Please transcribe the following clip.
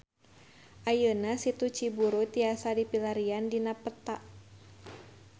Ayeuna Situ Ciburuy tiasa dipilarian dina peta